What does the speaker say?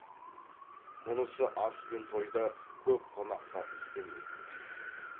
мұнысы ас пен тойда көп қонаққа істелмейтін сый